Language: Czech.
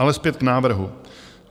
Ale zpět k návrhu.